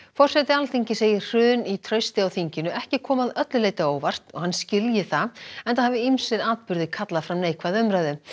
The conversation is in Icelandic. forseti Alþingis segir hrun í trausti á þinginu ekki koma að öllu leyti á óvart og hann skilji það enda hafi ýmsir atburðir kallað fram neikvæða umræðu